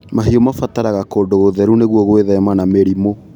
Mahiũ mabataraga kũndu gũtheru nĩguo gwithema na mĩrimũ.